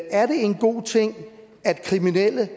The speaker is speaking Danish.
er det en god ting at kriminelle